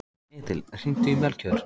Edil, hringdu í Melkjör.